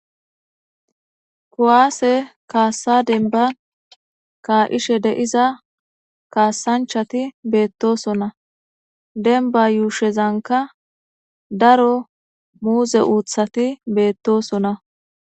kuwaase kaassa denba kaa'ishe de'iza kaassanchati beettosona denba yuushezanka daro muuze uuthati beettosona